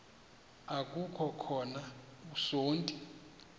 aku khova usonti